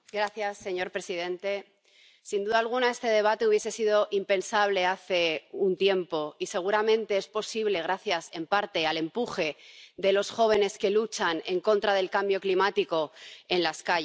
Señor presidente, sin duda alguna este debate hubiese sido impensable hace un tiempo y seguramente es posible gracias, en parte, al empuje de los jóvenes que luchan en contra del cambio climático en las calles.